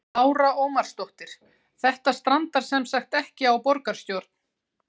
Lára Ómarsdóttir: Þetta strandar semsagt ekki á borgarstjórn?